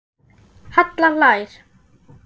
Halla hlær.